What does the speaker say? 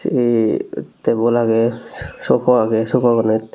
ey tebul agey sopa agey sopaganit.